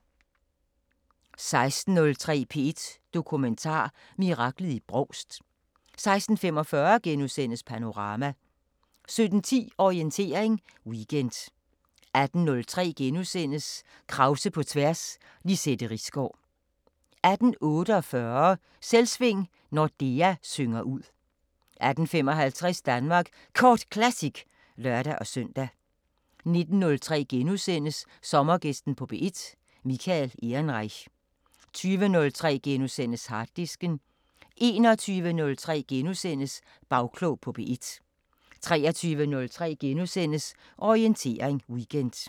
16:03: P1 Dokumentar: Miraklet i Brovst 16:45: Panorama * 17:10: Orientering Weekend 18:03: Krause på tværs: Lizette Risgaard * 18:48: Selvsving: Nordea synger ud 18:55: Danmark Kort Classic (lør-søn) 19:03: Sommergæsten på P1: Michael Ehrenreich * 20:03: Harddisken * 21:03: Bagklog på P1 * 23:03: Orientering Weekend *